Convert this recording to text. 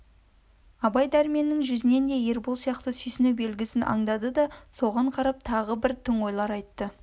абай дәрменнің жүзінен де ербол сияқты сүйсіну белгісін андады да соған қарап тағы бір тың ойлар айтты